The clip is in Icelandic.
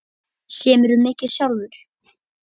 Semurðu mikið sjálfur?